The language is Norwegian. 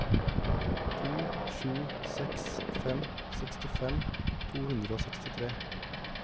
to sju seks fem sekstifem to hundre og sekstitre